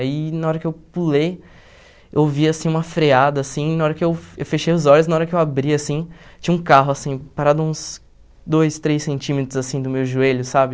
Aí na hora que eu pulei, eu vi assim uma freada assim, na hora que eu eu fechei os olhos, na hora que eu abri assim, tinha um carro assim parado uns dois, três centímetros assim do meu joelho, sabe?